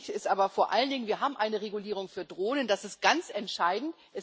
Wichtig ist aber vor allen Dingen Wir haben eine Regulierung für Drohnen das ist ganz entscheidend.